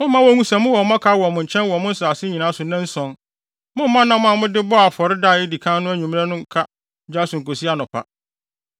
Mommma wonhu sɛ mowɔ mmɔkaw wɔ mo nkyɛn wɔ mo nsase nyinaa so nnanson. Mommma nam a mode bɔɔ afɔre da a edi kan no anwummere no nka gya so nkosi anɔpa.